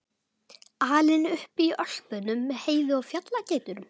Alinn upp í Ölpunum með Heiðu og fjallageitunum?